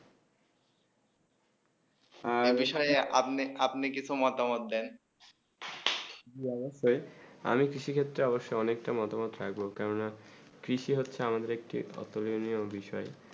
হেঁ এই বিষয়ে আপনি কিছু মতামত দেন জী অবসয়ে আমি আমি কৃষি ক্ষেত্রে অনেক তা মতামত থাকবো কেন না কৃষি হচ্ছেই আমাদের একটি ওটুরনিয়ে বিষয়ে